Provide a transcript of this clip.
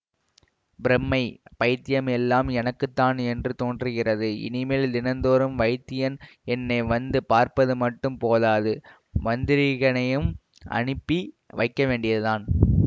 பிரமை பைத்தியம் எல்லாம் எனக்கு தான் என்று தோன்றுகிறது இனிமேல் தினந்தோறும் வைத்தியன் என்னை வந்து பார்ப்பது மட்டும் போதாது மந்திரீகனையும் அனுப்பி வைக்க வேண்டியதுதான்